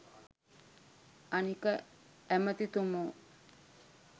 අනික ඇමතිතුමෝ